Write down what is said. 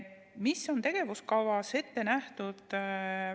Mis on tegevuskavas ette nähtud?